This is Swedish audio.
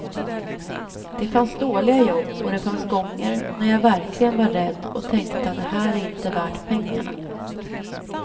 Det fanns dåliga jobb och det fanns gånger när jag verkligen var rädd och tänkte att det här är inte värt pengarna.